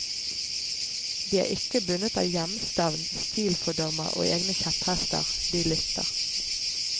De er ikke bundet av hjemstavn, stilfordommer og egne kjepphester, de lytter.